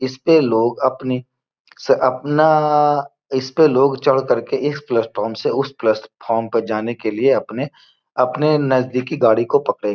इसपे लोग अपनी स अपना इस पे लोग चढ़ करके इस प्लेटफार्म से उस प्लेटफार्म पर तक जाने के लिए अपने अपने नज़दीकी गाड़ी को पकड़ें --